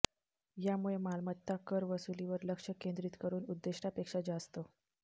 यामुळे मालमत्ता कर वसुलीवर लक्ष केंद्रीत करून उद्दिष्टापेक्षा जास्त